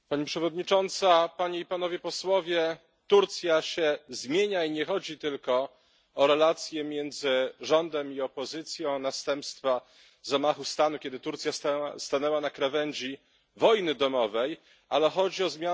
Turcja się zmienia i nie chodzi tylko o relacje między rządem i opozycją, o następstwa zamachu stanu, kiedy Turcja stanęła na krawędzi wojny domowej, ale chodzi o zmiany głębokie, które mogą niestety pozostać.